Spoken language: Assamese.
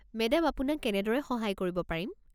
মেডাম আপোনাক কেনেদৰে সহায় কৰিব পাৰিম?